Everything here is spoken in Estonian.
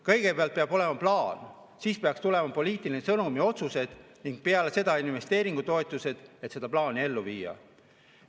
Kõigepealt peab olema plaan, siis peaks tulema poliitiline sõnum ja otsused ning peale seda investeeringutoetused, et seda plaani ellu viia.